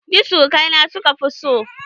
Ni surukai na suka fi so